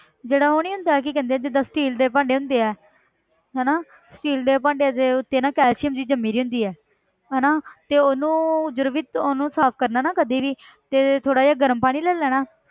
ਜਿਹੜਾ ਉਹ ਨੀ ਹੁੰਦਾ ਕੀ ਕਹਿੰਦੇ ਆ steel ਦੇ ਭਾਂਡੇ ਹੁੰਦੇ ਹੈ ਹਨਾ steel ਦੇ ਭਾਂਡਿਆਂ ਦੇ ਉੱਤੇ ਨਾ calcium ਜਿਹੀ ਜੰਮੀ ਹੁੰਦੀ ਹੈ ਹਨਾ ਤੇ ਉਹਨੂੰ ਜਦੋਂ ਵੀ ਉਹਨੂੰ ਸਾਫ਼ ਕਰਨਾ ਨਾ ਕਦੇ ਵੀ ਤੇ ਥੋੜ੍ਹਾ ਜਿਹਾ ਗਰਮ ਪਾਣੀ ਲੈ ਲੈਣਾ ਹੈ